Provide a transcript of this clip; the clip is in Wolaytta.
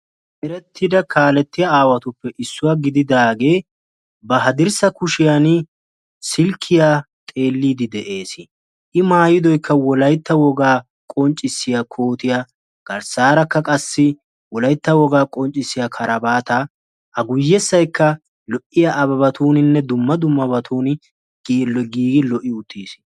Erettida kaalettiya aawatuppe issuwa gididagee ba hadirssa kushiyaani silkkiya xeelliiddi de'eesi. I maayidoyikka wolaytta wogaa qonccissiya kootiya garssaarakka qassi wolaytta wogaa qonccissiya karabaataa a guyyessayikka lo'iya abebatuuninne dumma dummabatuni giigi lo'i uttiisi.